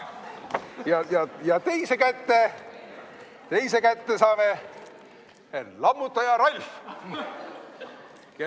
Ja teise kätte saame "Lammutaja Ralf".